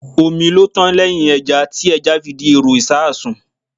Omi ló tán lẹ́hìn ẹja, tí ẹja fi di èrò ìṣasùn.